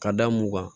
Ka da mun ŋan